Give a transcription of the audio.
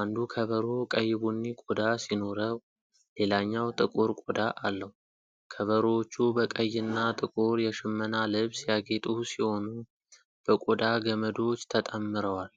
አንዱ ከበሮ ቀይ ቡኒ ቆዳ ሲኖረው ሌላኛው ጥቁር ቆዳ አለው። ከበሮዎቹ በቀይና ጥቁር የሽመና ልብስ ያጌጡ ሲሆኑ፣ በቆዳ ገመዶች ተጠምረዋል።